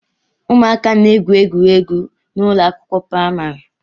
Ụmụaka na-egwu egwuregwu n'ụlọ akwụkwọ praịmarị